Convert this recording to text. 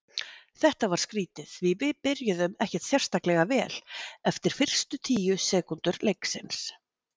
Þetta var skrítið því við byrjuðum ekkert sérstaklega vel eftir fyrstu tíu sekúndur leiksins.